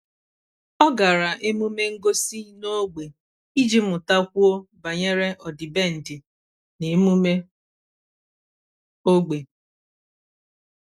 ọ́ gàrà emume ngosi n’ógbè iji mụ́takwuo banyere ọ́dị́bèndị̀ na emume ógbè.